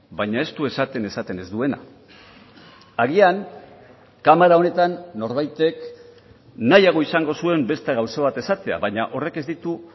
baina ez du esaten esaten ez duena agian kamara honetan norbaitek nahiago izango zuen beste gauza bat esatea baina horrek ez ditu